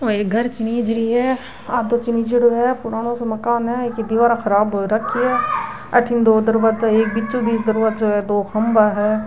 वो एक घर चिनीज रही है आधों चीनीज़डो पुरानो सो मकान है एके दिवारा ख़राब हो राखी है अठने दो दरवाजा अथीन बीचो बिच दरवाजा दो खम्भों है।